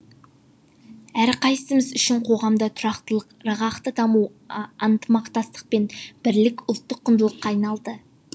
әрқайсымыз үшін қоғамда тұрақтылық ырғақты даму ынтымақтастық пен бірлік ұлттық құндылыққа айналды